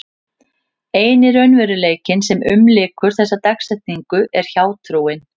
Eini raunveruleikinn sem umlykur þessa dagsetningu er hjátrúin.